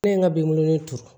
Ne ye n ka biŋo ni turu